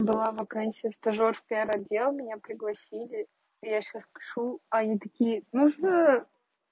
была вакансия стажёр в пиар отдел меня пригласили я сейчас кошу а они такие ну что